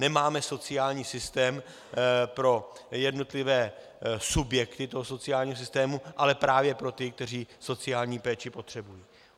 Nemáme sociální systém pro jednotlivé subjekty toho sociálního systému, ale právě pro ty, kteří sociální péči potřebují.